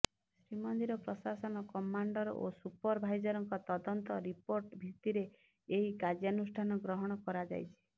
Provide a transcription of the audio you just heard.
ଶ୍ରୀମନ୍ଦିର ପ୍ରଶାସନ କମାଣ୍ଡର ଓ ସୁପର ଭାଇଜରଙ୍କ ତଦନ୍ତ ରିପୋର୍ଟ ଭିତ୍ତିରେ ଏହି କାର୍ଯ୍ୟାନୁଷ୍ଠାନ ଗ୍ରହଣ କରାଯାଇଛି